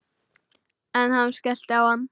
Ef hann skellti á hann.